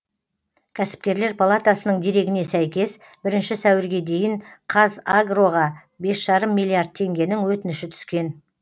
кәсіпкерлер палатасының дерегіне сәйкес бірінші сәуірге дейін қазагроға бес жарым миллиард теңгенің өтініші түскен